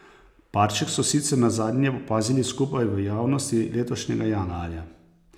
Parček so sicer nazadnje opazili skupaj v javnosti letošnjega januarja.